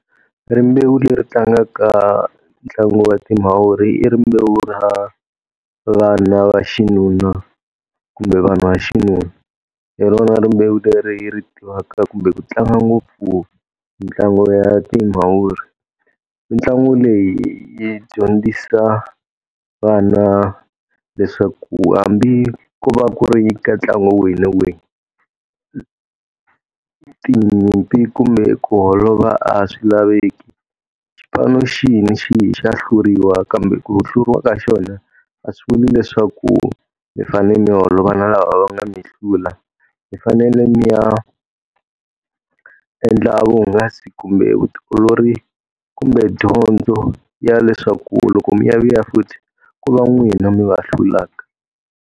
Rimbewu leri tlangaka ntlangu wa timavuri rimbewu ra vana va xinuna kumbe vanhu va xinuna. Hi rona rimbewu leri ri tivaka kumbe ku tlanga ngopfu ntlangu ya timavuri. Mitlangu leyi yi dyondzisa vana leswaku hambi ko va ku ri ka ntlangu wihi na wihi tinyimpi kumbe ku holova a swi laveki. Xipano xihi ni xihi xa hluriwa kambe ku hluriwa ka xona, a swi vuli leswaku mi fanele mi holova na lava va nga mi hlula. Mi fanele mi ya endla vuhungasi kumbe vutiolori kumbe dyondzo ya leswaku loko mi ya vuya futhi, ku va n'wina mi va hlulaka.